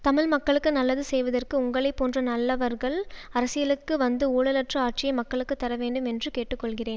தமிழ் மக்களுக்கு நல்லது செய்வதற்கு உங்களை போன்ற நலலவர்கள் அரசியலுக்கு வந்து ஊழலற்ற ஆட்சியை மக்களுக்கு தர வேண்டும் என்று கேட்டுக்கொள்கிறேன்